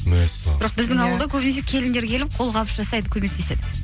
бірақ біздің ауылда көбінесе келіндер келіп қолқабыс жасайды көмектеседі